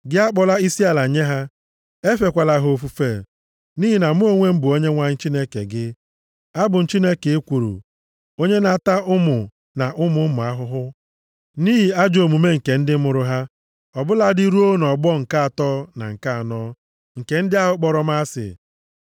Gị akpọla isiala nye ha, efekwala ha ofufe, nʼihi na Mụ onwe m bụ Onyenwe anyị Chineke gị, abụ m Chineke ekworo. Onye na-ata ụmụ na ụmụ ụmụ ahụhụ, nʼihi ajọ omume nke ndị mụrụ ha, ọ bụladị ruo nʼọgbọ nke atọ na nke anọ, nke ndị ahụ kpọrọ m asị.